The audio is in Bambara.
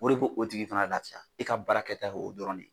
O de bo o tigi fana lafiya e ka baarakɛta ye o dɔrɔn de ye.